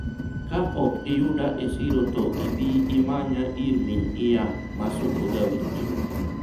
ka ok iyuda e siro to ibi imanya ir min ian ma suko ga wich